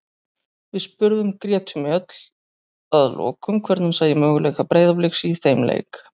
Við spurðum Gretu Mjöll að lokum hvernig hún sæi möguleika Breiðabliks í þeim leik.